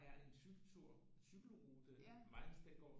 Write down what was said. Er en cykeltur en cykelrute Mainz den går